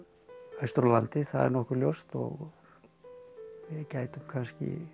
austur á landi það er nokkuð ljóst og við gætum kannski